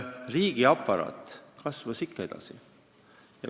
Riigiaparaat kasvas ikka edasi.